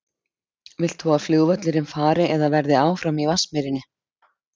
Vilt þú að flugvöllurinn fari eða verði áfram í Vatnsmýrinni?